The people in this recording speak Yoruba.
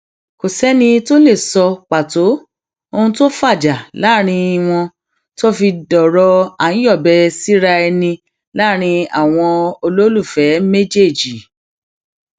kò sẹni tó lè sọ pàtó ohun tó fàjà láàrin wọn tó fi dọrọ àńyọbẹsíra ẹni láàrin àwọn olólùfẹ méjèèjì